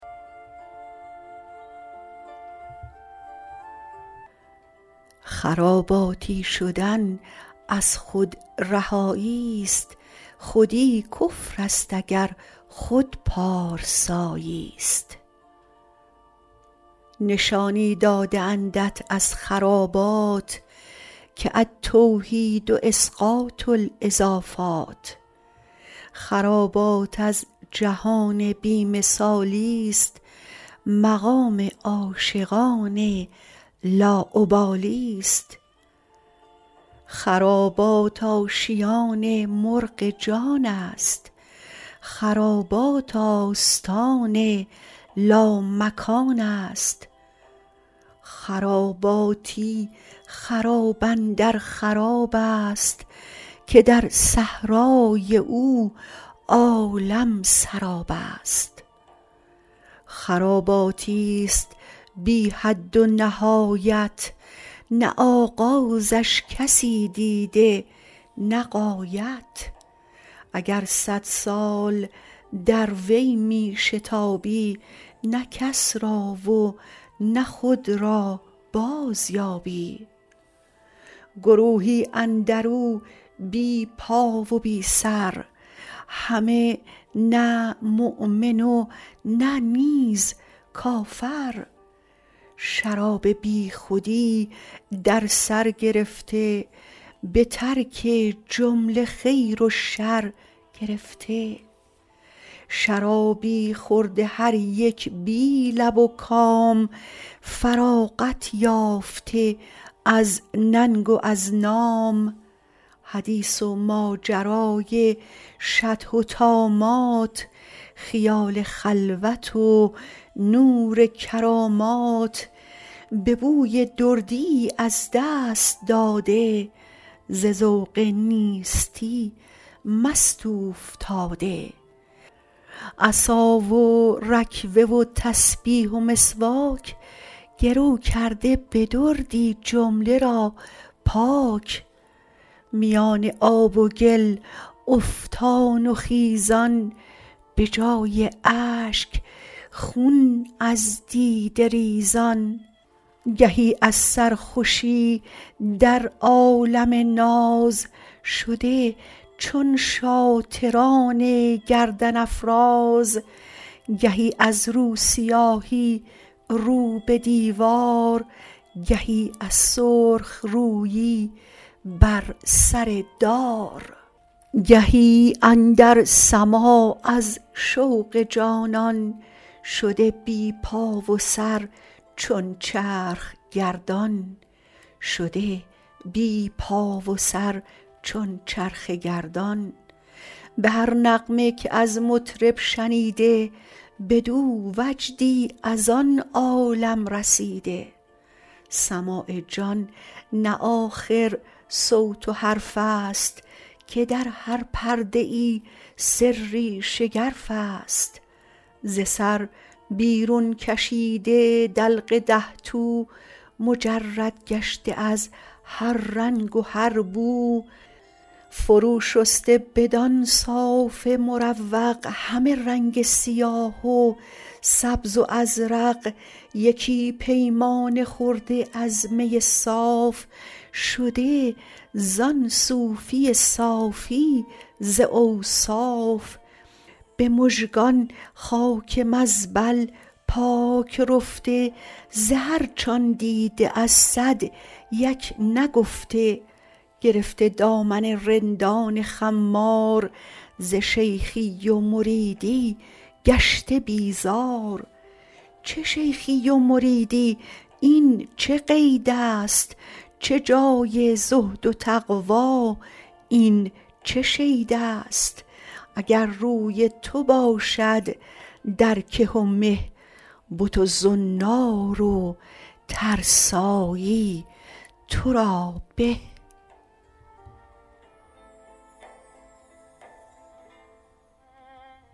خراباتی شدن از خود رهایی است خودی کفر است ور خود پارسایی است نشانی داده اندت از خرابات که التوحید اسقاط الاضافات خرابات از جهان بی مثالی است مقام عاشقان لاابالی است خرابات آشیان مرغ جان است خرابات آستان لامکان است خراباتی خراب اندر خراب است که در صحرای او عالم سراب است خراباتی است بی حد و نهایت نه آغازش کسی دیده نه غایت اگر صد سال در وی می شتابی نه کس را و نه خود را بازیابی گروهی اندر او بی پا و بی سر همه نه مؤمن و نه نیز کافر شراب بیخودی در سر گرفته به ترک جمله خیر و شر گرفته شرابی خورده هر یک بی لب و کام فراغت یافته از ننگ و از نام حدیث و ماجرای شطح و طامات خیال خلوت و نور کرامات به بوی دردیی از دست داده ز ذوق نیستی مست اوفتاده عصا و رکوه و تسبیح و مسواک گرو کرده به دردی جمله را پاک میان آب و گل افتان و خیزان به جای اشک خون از دیده ریزان گهی از سرخوشی در عالم ناز شده چون شاطران گردن افراز گهی از روسیاهی رو به دیوار گهی از سرخ رویی بر سر دار گهی اندر سماع از شوق جانان شده بی پا و سر چون چرخ گردان به هر نغمه که از مطرب شنیده بدو وجدی از آن عالم رسیده سماع جان نه آخر صوت و حرف است که در هر پرده ای سری شگرف است ز سر بیرون کشیده دلق ده تو مجرد گشته از هر رنگ و هر بو فرو شسته بدان صاف مروق همه رنگ سیاه و سبز و ازرق یکی پیمانه خورده از می صاف شده زان صوفی صافی ز اوصاف به مژگان خاک مزبل پاک رفته ز هر چ آن دیده از صد یک نگفته گرفته دامن رندان خمار ز شیخی و مریدی گشته بیزار چه شیخی و مریدی این چه قید است چه جای زهد و تقوی این چه شید است اگر روی تو باشد در که و مه بت و زنار و ترسایی تو را به